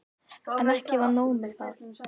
En ekki var nóg með það.